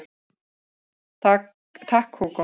Takk Hugo